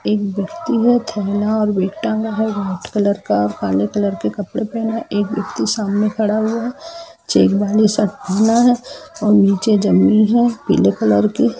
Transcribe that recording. एक व्यक्ति है ठेला और बैग टंगा है वाइट कलर का काले कलर के कपड़े पहने हैं एक व्यक्ति सामने खड़ा हुआ है चेक वाली शर्ट पहना है और नीचे जमीन है पीले कलर की।